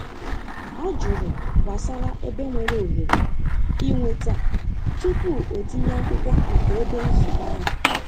O jụrụ gbasara ebe nwere ohere ịnweta tupu o tinye akwụkwo maka ebe nzukọ ahụ.